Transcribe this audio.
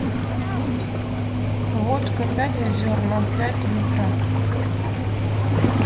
водка пять озер ноль пять литра